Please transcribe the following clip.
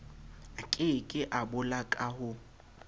a keke a boloka ho